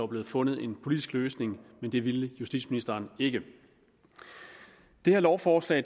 blevet fundet en politisk løsning men det ville justitsministeren ikke det her lovforslag